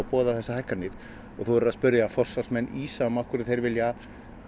boðað þessar hækkanir og þú verður að spyrja forsvarsmenn ÍSAM af hverju þeir vilja